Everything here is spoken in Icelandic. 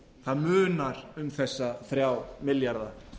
það munar um þessa þrjá milljarða